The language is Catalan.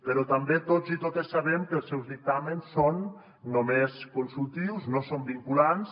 però també tots i totes sabem que els seus dictàmens són només consultius no són vinculants